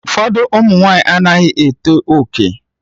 Ụfọdụ ụmụ nwanyị anaghị eto oke